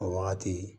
O wagati